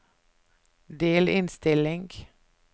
delinnstilling